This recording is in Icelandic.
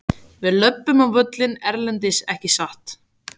Við löbbum á völlinn erlendis ekki satt?